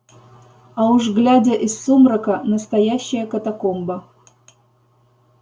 а уж глядя из сумрака настоящая катакомба